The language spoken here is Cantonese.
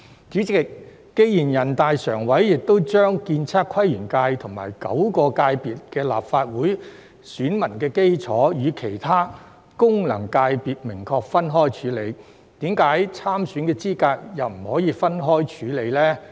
主席，既然全國人民代表大會常務委員會亦已將建測規園界等9個界別的立法會選民基礎與其他功能界別明確分開處理，為何參選資格又不可以分開處理呢？